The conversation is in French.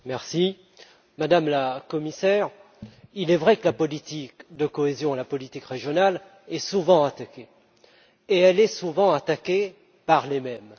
Madame la Présidente, Madame la Commissaire, il est vrai que la politique de cohésion la politique régionale est souvent attaquée et elle est souvent attaquée par les mêmes.